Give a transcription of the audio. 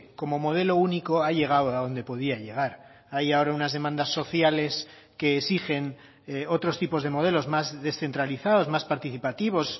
como modelo único ha llegado a donde podía llegar hay ahora unas demandas sociales que exigen otros tipos de modelos más descentralizados más participativos